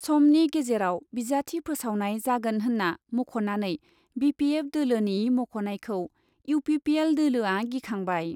समनि गेजेराव बिजाथि फोसावनाय जागोन होन्ना मख'नानै बि पि एफ दोलोनि मख'नायखौ इउ पि पि एल दोलोआ गिखांबाय।